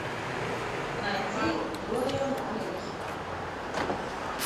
найди дориан грей